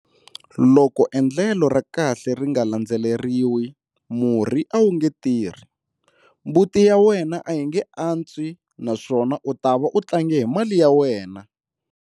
Loko endlelo ra kahle ri nga landzeleriwi, murhi a wu nge tirhi, mbuti ya wena a yi nge antswi naswona u ta va u tlange hi mali ya wena.